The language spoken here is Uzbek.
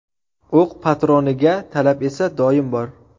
O‘q patroniga talab esa doim bor.